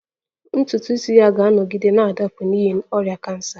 Ntutu isi ya ga-anọgide na-adapụ n'ihi ọrịa kansa